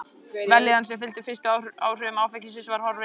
Vellíðanin sem fylgdi fyrstu áhrifum áfengisins var horfin.